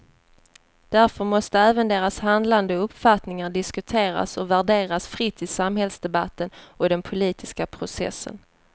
Därför måste även deras handlande och uppfattningar diskuteras och värderas fritt i samhällsdebatten och i den politiska processen.